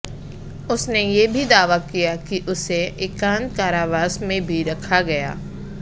उसने ये भी दावा किया कि उसे एकांत कारावास में भी रखा गया